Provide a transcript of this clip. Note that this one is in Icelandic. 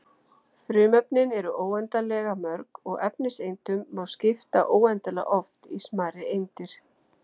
Frumefnin eru óendanlega mörg og efniseindunum má skipta óendanlega oft í smærri eindir.